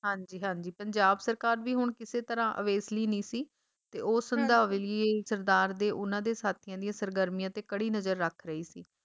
ਹਾਂਜੀ ਹਾਂਜੀ ਪੰਜਾਬ ਸਰਕਾਰ ਵੀ ਹੁਣ ਕਿਸੇ ਤਰਾਂ ਅਵੇਸਲੀ ਨਹੀਂ ਸੀ ਤੇ ਉਹ ਹੁਣ ਸੰਧਾਵੇ ਲਈ ਸਰਦਾਰ ਤੇ ਉਹਨਾਂ ਦੇ ਸਾਥੀਆਂ ਦੀਆਂ ਸਰਗਰਮੀਆਂ ਤੇ ਕੜੀ ਨਜਰ ਰੱਖ ਰਹੀ ਸੀ